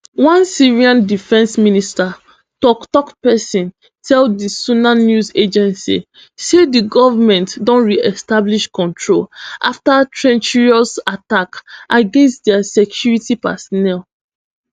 one syrian defence ministry toktok pesin tell di sana news agency say di goment don reestablish control afta treacherous attacks against dia security personnel